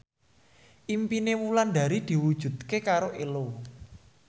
impine Wulandari diwujudke karo Ello